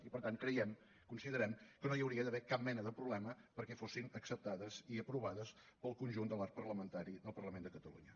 i per tant creiem considerem que no hi hauria d’haver cap mena de problema perquè fossin acceptades i aprovades pel conjunt de l’arc parlamentari del parlament de catalunya